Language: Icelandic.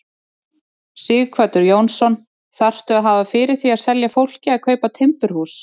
Sighvatur Jónsson: Þarftu að hafa fyrir því að selja fólki að kaupa timburhús?